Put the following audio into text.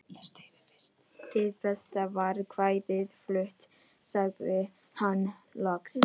Hið besta var kvæðið flutt, sagði hann loks.